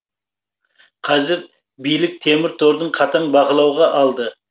қазір билік темір торды қатаң бақылауға алды